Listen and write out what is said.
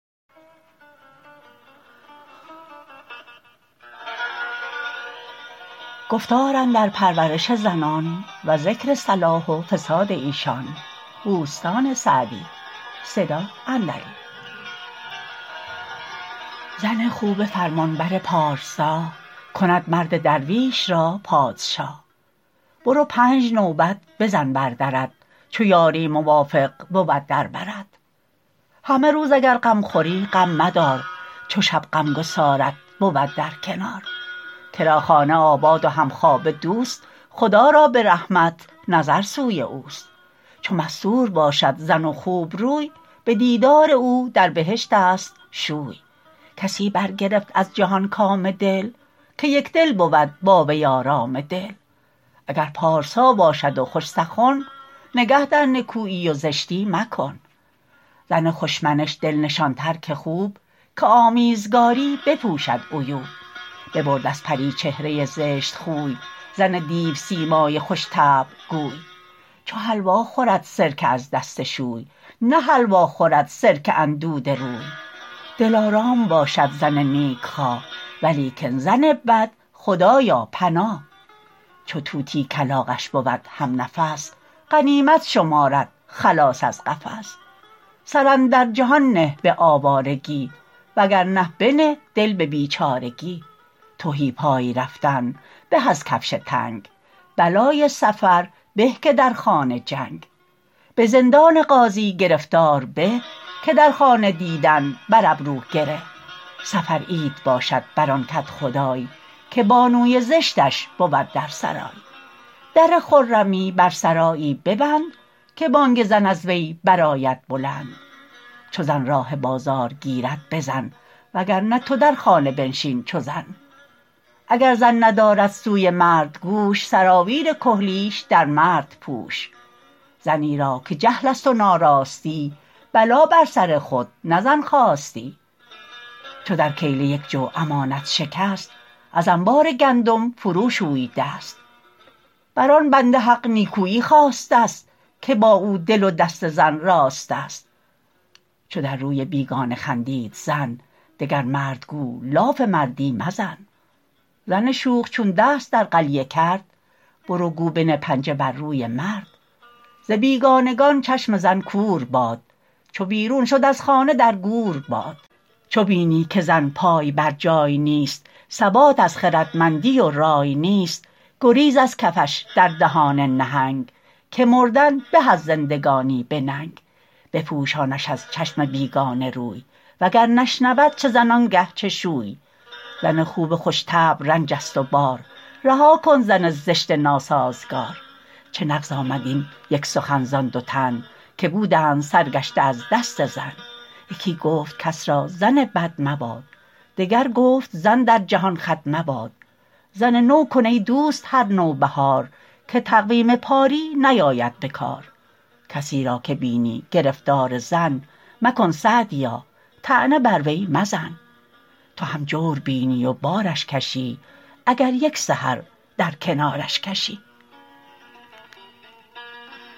زن خوب فرمانبر پارسا کند مرد درویش را پادشا برو پنج نوبت بزن بر درت چو یاری موافق بود در برت همه روز اگر غم خوری غم مدار چو شب غمگسارت بود در کنار کرا خانه آباد و همخوابه دوست خدا را به رحمت نظر سوی اوست چو مستور باشد زن و خوبروی به دیدار او در بهشت است شوی کسی برگرفت از جهان کام دل که یکدل بود با وی آرام دل اگر پارسا باشد و خوش سخن نگه در نکویی و زشتی مکن زن خوش منش دل نشان تر که خوب که آمیزگاری بپوشد عیوب ببرد از پری چهره زشت خوی زن دیوسیمای خوش طبع گوی چو حلوا خورد سرکه از دست شوی نه حلوا خورد سرکه اندوده روی دلارام باشد زن نیک خواه ولیکن زن بد خدایا پناه چو طوطی کلاغش بود هم نفس غنیمت شمارد خلاص از قفس سر اندر جهان نه به آوارگی وگرنه بنه دل به بیچارگی تهی پای رفتن به از کفش تنگ بلای سفر به که در خانه جنگ به زندان قاضی گرفتار به که در خانه دیدن بر ابرو گره سفر عید باشد بر آن کدخدای که بانوی زشتش بود در سرای در خرمی بر سرایی ببند که بانگ زن از وی برآید بلند چو زن راه بازار گیرد بزن وگرنه تو در خانه بنشین چو زن اگر زن ندارد سوی مرد گوش سراویل کحلیش در مرد پوش زنی را که جهل است و ناراستی بلا بر سر خود نه زن خواستی چو در کیله یک جو امانت شکست از انبار گندم فرو شوی دست بر آن بنده حق نیکویی خواسته است که با او دل و دست زن راست است چو در روی بیگانه خندید زن دگر مرد گو لاف مردی مزن زن شوخ چون دست در قلیه کرد برو گو بنه پنجه بر روی مرد ز بیگانگان چشم زن کور باد چو بیرون شد از خانه در گور باد چو بینی که زن پای برجای نیست ثبات از خردمندی و رای نیست گریز از کفش در دهان نهنگ که مردن به از زندگانی به ننگ بپوشانش از چشم بیگانه روی وگر نشنود چه زن آنگه چه شوی زن خوب خوش طبع رنج است و بار رها کن زن زشت ناسازگار چه نغز آمد این یک سخن زآن دو تن که بودند سرگشته از دست زن یکی گفت کس را زن بد مباد دگر گفت زن در جهان خود مباد زن نو کن ای دوست هر نوبهار که تقویم پاری نیاید به کار کسی را که بینی گرفتار زن مکن سعدیا طعنه بر وی مزن تو هم جور بینی و بارش کشی اگر یک سحر در کنارش کشی